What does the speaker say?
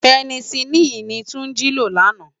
Pènèsilini ni Tunji ló làná